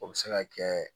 O bɛ se ka kɛ